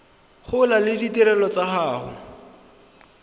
gola le ditirelo tsa go